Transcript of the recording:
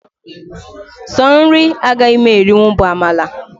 Sọ nri agaghị m erinwu bụ amala